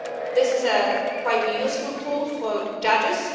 This is quite a useful tool for judges.